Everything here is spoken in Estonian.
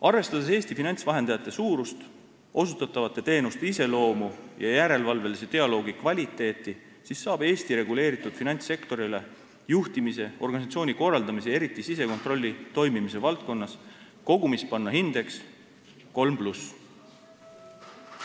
Arvestades Eesti finantsvahendajate suurust, osutatavate teenuste iseloomu ja järelevalvelise dialoogi kvaliteeti, saab Eesti reguleeritud finantssektorile juhtimise, organisatsiooni korraldamise ja eriti sisekontrolli toimimise valdkonnas kogumis panna hindeks kolm pluss.